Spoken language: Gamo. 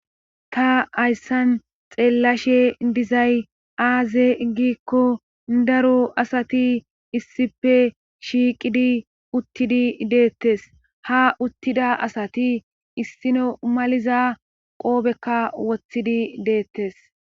Ta hayssan xeellashe dizay aaze giikko daro astati issippe shiiqidi uttidi deettes ha uttida asati issino maliza qoobekka wothidi deettees.